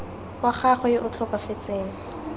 wa gagwe yo o tlhokafetseng